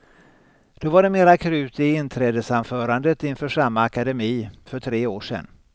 Då var det mera krut i inträdesanförandet inför samma akademi för tre år sedan.